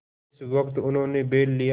जिस वक्त उन्होंने बैल लिया